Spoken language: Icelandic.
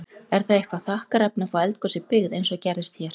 Er það eitthvað þakkarefni að fá eldgos í byggð, eins og gerðist hér?